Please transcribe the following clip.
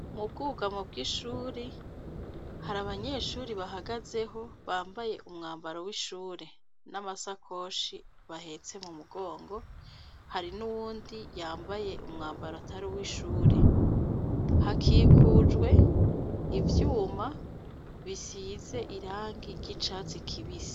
Mubwugamo bw'ishuri ,harabanyeshure bahagazeho bambaye umwambaro w'ishure, n'amashakoshi bahetse mumugongo, hari n'uwundi yambaye umwambaro ataruwishure . Hakikujwe ivyuma bisize irangi ry'icatsi kibisi.